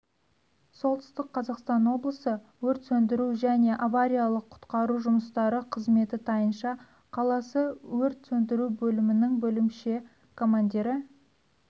солтүстік қазақстан облысы өрт сөндіру және авариялық-құтқару жұмыстары қызметі тайынша қаласы өрт сөндіру бөлімінің бөлімше командирі